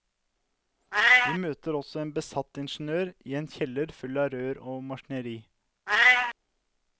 Vi møter også en besatt ingeniør i en kjeller full av rør og maskineri.